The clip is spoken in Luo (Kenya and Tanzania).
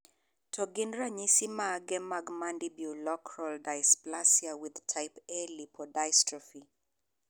To gin ranyisis mage mag Mandibuloacral dysplasia with type A lipodystrophy?